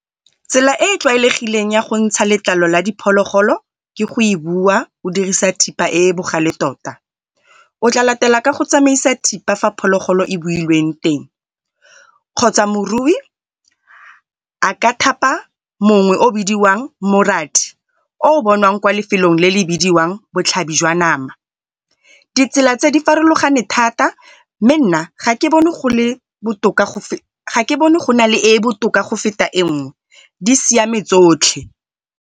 Tsela e e tlwaelegileng ya go ntsha letlalo la diphologolo ke go e buwa o dirisa thipa e e bogale tota. O tla latela ka go tsamaisa thipa fa phologolo e builweng teng, kgotsa morui a ka thapa mongwe yo o bidiwang morathi o bonwang ko lefelong botlhabi jwa nama. Ditsela tse di farologane thata mme nna ga ke bone go nale e botoka go feta enngwe di siame tsotlhe.